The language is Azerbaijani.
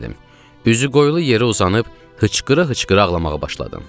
Üzü qoyulu yerə uzanıb hıçqıra-hıçqıra ağlamağa başladım.